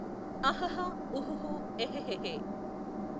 అహహ ఉహుహు ఎహెహేహే